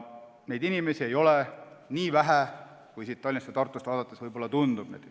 Neid inimesi ei olegi nii vähe, kui Tallinnast ja Tartust vaadates võib-olla tundub.